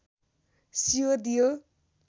सियो दियो